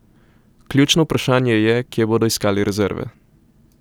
Ključno vprašanje je, kje bodo iskali rezerve.